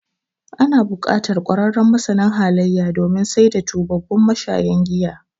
Ana buƙatar ƙwararren masanin halayya, domin saita tubabbun mashayan giya.